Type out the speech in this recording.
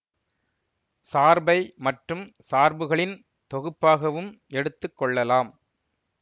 சார்பை மற்றும் சார்புகளின் தொகுப்பாகவும் எடுத்து கொள்ளலாம்